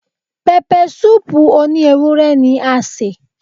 Pẹpẹsúùpù òní ewúrẹ́ ni a sè